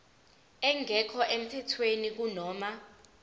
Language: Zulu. engekho emthethweni kunoma